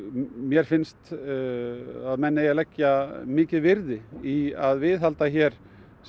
mér finnst að menn eigi að leggja mikið virði í að viðhalda hér